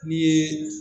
Ni ye